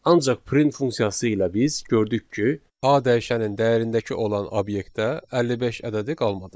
Ancaq print funksiyası ilə biz gördük ki, A dəyişənin dəyərindəki olan obyektdə 55 ədədi qalmadı.